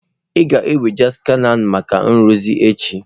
Ị ga-ewega skana maka nrụzi echi.